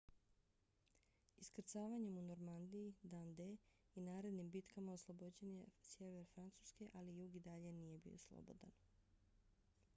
iskrcavanjem u normandiji dan-d i narednim bitkama oslobođen je sjever francuske ali jug i dalje nije bio slobodan